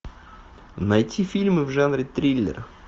найти фильмы в жанре триллер